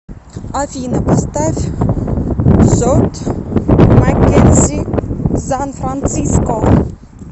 афина поставь скотт маккензи сан франциско